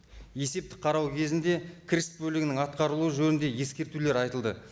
есептік қарау кезінде кіріс бөлігінің атқарылуы жөнінде ескертулер айтылды